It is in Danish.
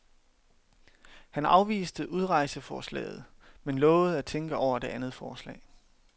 Han afviste udrejseforslaget, men lovede at tænke over det andet forslag.